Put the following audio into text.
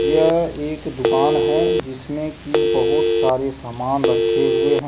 यह एक दुकान है जिसमें की बहुत सारे सामान रखे हुए हैं।